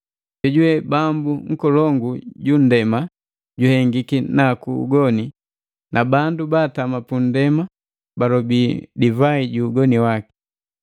Jojuwe bambu nkolongu ju nndema juhengiki naku ugoni, na bandu baatama pundema balobi divai ju ugoni waki.”